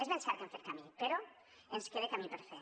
és ben cert que hem fet camí però ens queda camí per fer